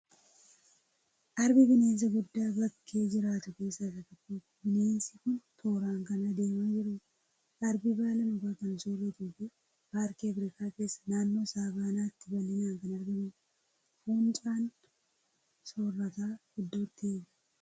Arbi bineensa guddaa bakkee jiraatu keessaa isa tokkodha. Bineensi kun tooraan kan adeemaa jirudha. Arbi baala mukaa kan sooratuu fi paarkii Afirikaa keessaa naannoo Saavanaatti bal'inaan kan argamudha. Fuuncaa soorataa iddootti eega.